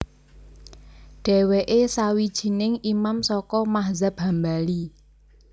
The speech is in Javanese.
Dhéwéké sawijining Imam saka madzhab Hambali